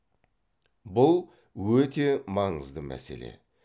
бұл өте маңызды мәселе